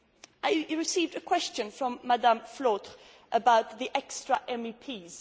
I received a question from Madame Flautre about the extra MEPs